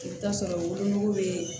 I bɛ taa sɔrɔ wolonugu bɛ